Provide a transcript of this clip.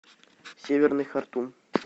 северный хартум